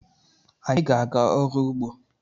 Anyị ga-aga ọrụ ugbo